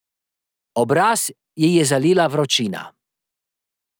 Obraz ji je zalila vročina.